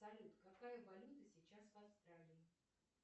салют какая валюта сейчас в австралии